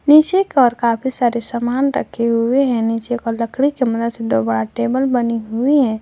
पीछे की और काफी सारे सामान रखे हुए हैं नीचे का लकड़ी कमरा दोबा टेबल बनी हुई है।